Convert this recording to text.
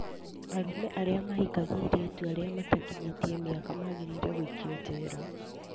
Arũme arĩa mahikagia airĩtu arĩa matakinyĩtie mĩaka magĩrĩirwo nĩ gũikio njera